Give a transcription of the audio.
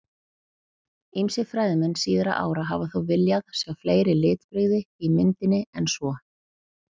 Ýmsir fræðimenn síðari ára hafa þó viljað sjá fleiri litbrigði í myndinni en svo.